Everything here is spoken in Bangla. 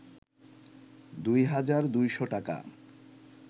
২ হাজার ২’শ টাকা